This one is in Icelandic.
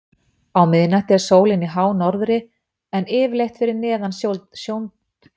á miðnætti er sólin í hánorðri en yfirleitt fyrir neðan sjóndeildarhring